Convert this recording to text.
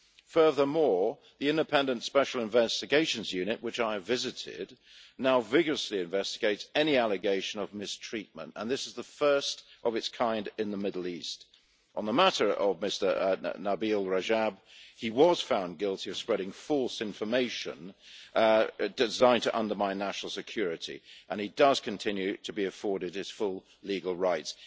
Furthermore, the independent Special Investigations Unit, which I have visited, now vigorously investigates any allegation of mistreatment, and this is the first of its kind in the Middle East. On the matter of Mr Nabeel Rajab he was found guilty of spreading false information designed to undermine national security, and he does continue to be afforded his full legal rights.